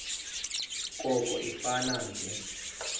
koko ifane nje